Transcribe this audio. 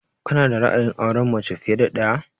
Ka na da ra'ayin aurenmace fiye da ɗaya?